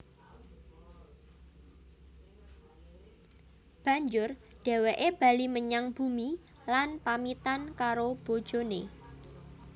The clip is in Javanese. Banjur dhèwèké bali menyang bumi lan pamitan karo bojoné